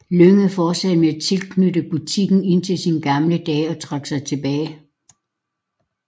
Lynge fortsatte med at være tilknyttet butikken indtil sine gamle dage og trak sig tilbage